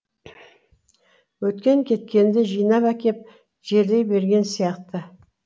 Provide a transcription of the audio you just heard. өткен кеткенді жинап әкеп жерлей берген сияқты